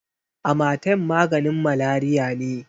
Amatem maganin Malariya ne.